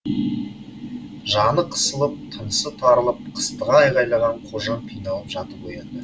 жаны қысылып тынысы тарылып қыстыға айғайлаған қожан қиналып жатып оянды